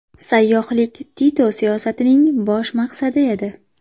Sayyohlik Tito siyosatining bosh maqsadi edi.